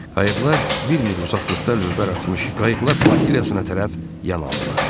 Qayıqlar bir mil uzaqlıqda lövbər atmış qayıqlar flotiliyasına tərəf yan aldılar.